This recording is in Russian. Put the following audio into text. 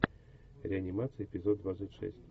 реанимация эпизод двадцать шесть